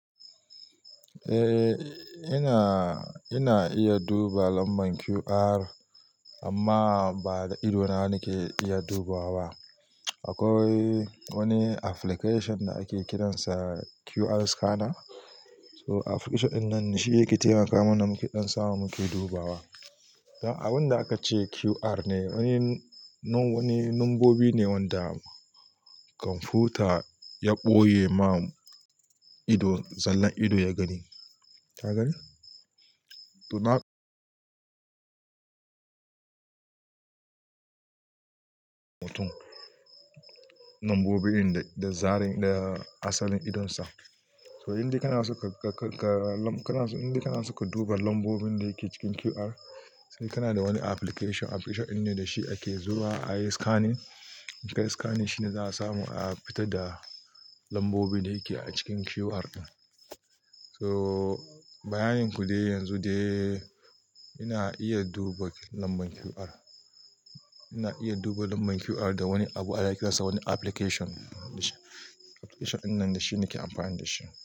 Eh, ina, ina iya duba lambar QR amma ba da ido na nake iya dubawa ba. Akwai wani application da ake kiransa QR Scanner. Akwai wani application da ake kiransa QR Scanner. Abunda ake ce QR ne, wurin wani nambobi ne wanda komfuta ya boye ma ido sannan ido ya gani ka gani? Toh da nombobi ne ta zarin daya asalin idonsa. Toh in dai kana so ka in dai kana so ka duba lambobin da ke cikin QR sai kana da wani application, application din ne da shi ake zuwa ayi scanning, a scanning shine za'a samu a fitad da lambobin da yake a cikin QR. Toh bayanin ku dai, yanzu dai ina iya duba lambar QR. Ina iya duba lambar QR da wani abu ana kiransa wani application. Application din nan da shi nake amfani da shi.